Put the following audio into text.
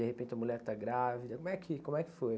De repente a mulher está grávida, como é que, como é que foi?